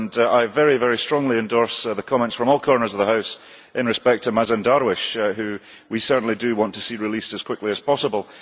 I very strongly endorse the comments from all corners of the House in respect of Mazen Darwish, who we certainly do want to see released as quickly as possible.